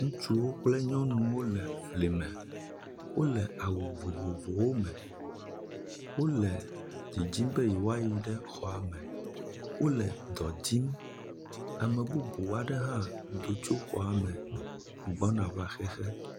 Ŋutsuwo kple nyɔnuwo le fli me, wole awu vovovowo me, wole didim be yewoayi ɖe xɔa me. Wole dɔ dim. Ame bubuwo aɖe do tso xɔa me gbɔna va xexe.